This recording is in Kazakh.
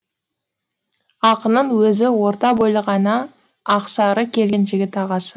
ақының өзі орта бойлы ғана ақсары келген жігіт ағасы